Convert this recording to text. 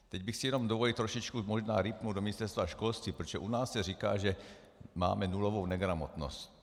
Teď bych si jenom dovolil trošičku možná rýpnout do Ministerstva školství, protože u nás se říká, že máme nulovou negramotnost.